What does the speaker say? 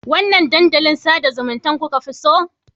Wanne dandalin sada zumunta kuka fi so?